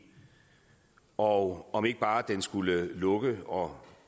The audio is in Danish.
og om man ikke bare skulle lukke og